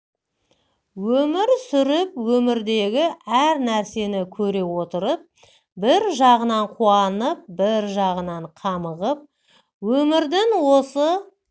өмір сүріп өмірдегі әр нәрсені көре отырып бір жағынан қуанып бір жағынан қамығып өмірдің осы